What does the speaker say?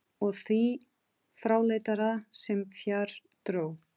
Og því fráleitara sem fjær dró.